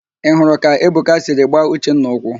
Ị hụrụ ka Ebuka siri gbaa Uchenna ụkwụ?